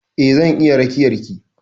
Eh zan iya rakiyar ki.